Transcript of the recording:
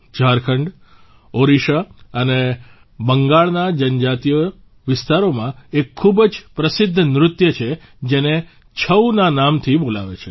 ઝારખંડ ઓડિશા અને બંગાળના જનજાતિય વિસ્તારોમાં એક ખૂબ જ પ્રસિદ્ધ નૃત્ય છે જેને છઉ ના નામથી બોલાવે છે